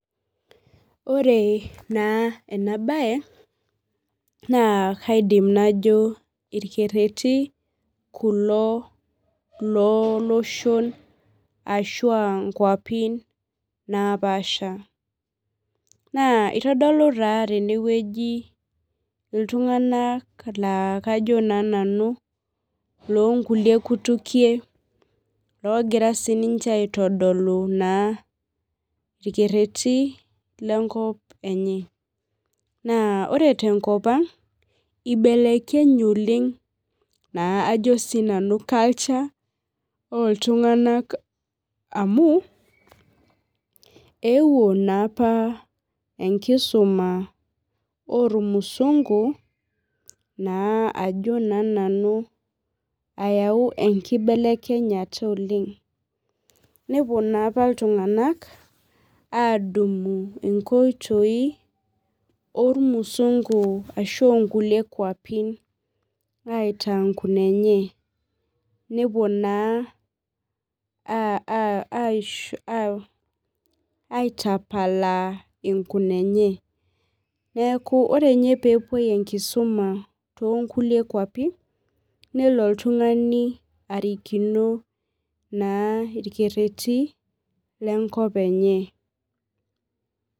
Ore naa enabaye naa kaidim najo irkerreti kulo looloshon ashu aa nkuapin naapaasha naa itodolu naa tenewueji iltung'anak laa kajo naa nanu loonkulie kutukie oogira naa sininche aitodolu irkerretin lenkop enye naa ore tenkop ang' ibelekenye oleng' culture oltung'anak amu eeuo naa apa enkisuma ormusungu ayaau enkibelekenyata oleng' nepuo naa apa iltung'anak aadumu nkoitoi ormusungu ashu oonkulie kuapi aitaa nkunenye nepuo naa aitapalaa nkunenye neeku ore ninye pee epuoi enkisuma toonkulie kuapi nelo oltung'ani arikino naa irkerreti lenkop enye.